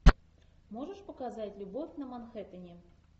можешь показать любовь на манхэттене